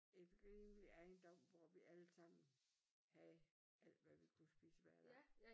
Et rimelig ejendom hvor vi alle sammen havde alt hvad vi kunne spise hver dag